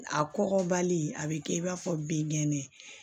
A kɔgɔbali a bɛ kɛ i b'a fɔ binkɛnɛ